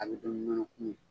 A bɛ dun ni nɔnɔkumu ye.